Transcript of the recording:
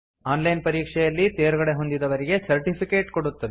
on line ಪರೀಕ್ಷೆಯಲ್ಲಿ ತೇರ್ಗಡೆಹೊಂದಿದವರಿಗೆ certificate ಕೊಡುತ್ತದೆ